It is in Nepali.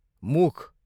मुख